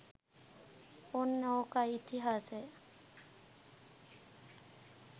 ඔන්න ඕකයි ඉතිහාසය.